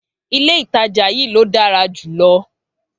Ilé ìtajà yí ló dára jùlọ